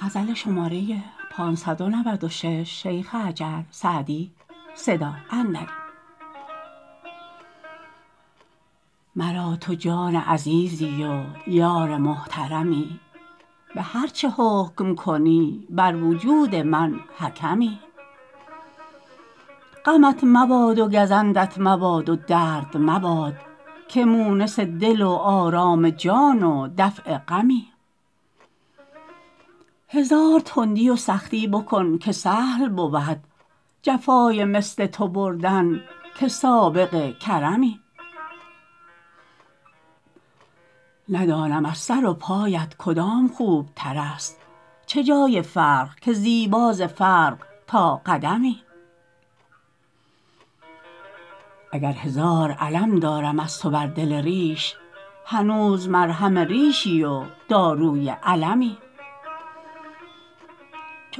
مرا تو جان عزیزی و یار محترمی به هر چه حکم کنی بر وجود من حکمی غمت مباد و گزندت مباد و درد مباد که مونس دل و آرام جان و دفع غمی هزار تندی و سختی بکن که سهل بود جفای مثل تو بردن که سابق کرمی ندانم از سر و پایت کدام خوبتر است چه جای فرق که زیبا ز فرق تا قدمی اگر هزار الم دارم از تو بر دل ریش هنوز مرهم ریشی و داروی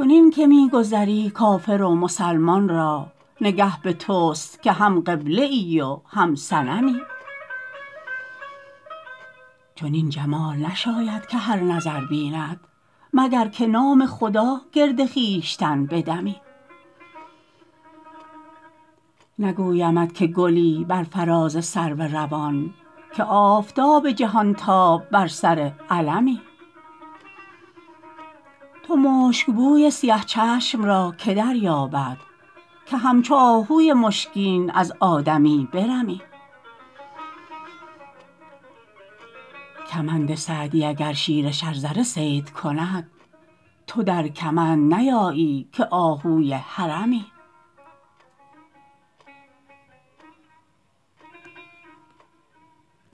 المی چنین که می گذری کافر و مسلمان را نگه به توست که هم قبله ای و هم صنمی چنین جمال نشاید که هر نظر بیند مگر که نام خدا گرد خویشتن بدمی نگویمت که گلی بر فراز سرو روان که آفتاب جهانتاب بر سر علمی تو مشکبوی سیه چشم را که دریابد که همچو آهوی مشکین از آدمی برمی کمند سعدی اگر شیر شرزه صید کند تو در کمند نیایی که آهوی حرمی